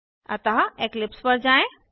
अतः इक्लिप्स पर जाएँ